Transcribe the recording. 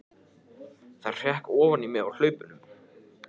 Það hrökk ofan í mig á hlaupunum.